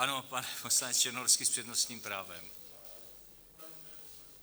Ano, pan poslanec Černohorský s přednostním právem.